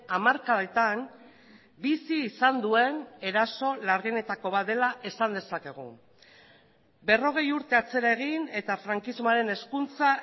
hamarkadetan bizi izan duen eraso larrienetako bat dela esan dezakegu berrogei urte atzera egin eta frankismoaren hezkuntza